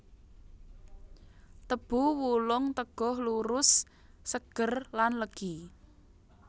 Tebu wulung teguh lurus seger lan legi